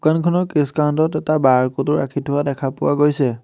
দোকানখনৰ case counter ত এটা বাৰক'ড ও ৰাখি থোৱা দেখা পোৱা গৈছে।